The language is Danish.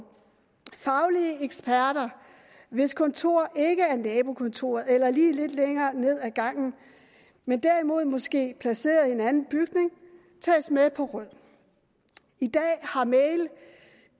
faglige eksperter hvis kontor ikke er nabokontoret eller et lige lidt længere ned ad gangen men derimod måske er placeret i en anden bygning tages med på råd i dag har mail